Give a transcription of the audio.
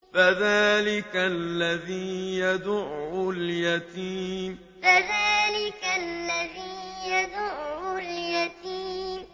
فَذَٰلِكَ الَّذِي يَدُعُّ الْيَتِيمَ فَذَٰلِكَ الَّذِي يَدُعُّ الْيَتِيمَ